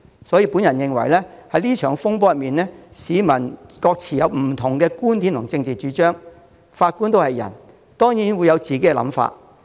對於這場風波，市民有不同的觀點和政治主張，而法官也是人，當然會有自己的想法。